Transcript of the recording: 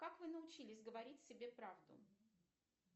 как вы научились говорить себе правду